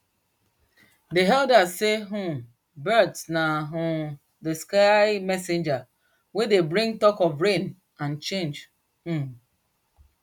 dey elders sey um birds na um dey sky messengers wey dey bring talk of rain and change um